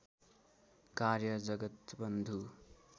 कार्य जगत्‌वन्धु